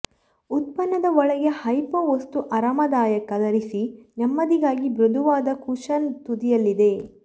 ಉತ್ಪನ್ನದ ಒಳಗೆ ಹೈಪೋ ವಸ್ತು ಆರಾಮದಾಯಕ ಧರಿಸಿ ನೆಮ್ಮದಿಗಾಗಿ ಮೃದುವಾದ ಕುಶನ್ ತುದಿಯಲ್ಲಿದೆ